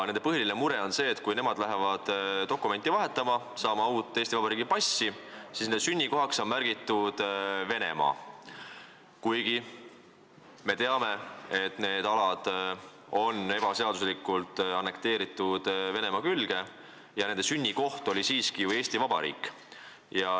Nende põhiline mure on see, et kui nad lähevad dokumenti vahetama, saama uut Eesti Vabariigi passi, siis on nende sünnikohaks märgitud Venemaa, kuigi me teame, et need alad on ebaseaduslikult Venemaa külge annekteeritud ja nende inimeste sünnikoht on siiski ju Eesti Vabariik.